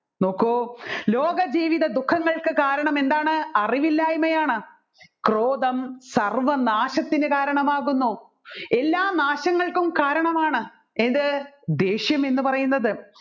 നോക്കു ലോകജീവിത ദുഃഖങ്ങൾക്ക് കാരണം എന്താണ് അറിവില്ലായ്മയാണ് ക്രോധം സർവ്വനാശത്തിന് കാരണമാകുന്നു എല്ലാ നാശങ്ങൾക്കും കാരണമാണ് ഏതു ദേഷ്യം എന്ന് പറയുന്നത്